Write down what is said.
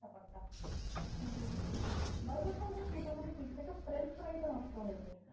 Burger ফারগার মোটামুটি ঠিক থাকে french fry টা নষ্ট হয়ে যায়।